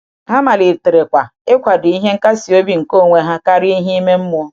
Ha maliterekwa ịkwado ihe nkasi obi nke onwe um ha um karịa ihe um ime mmụọ.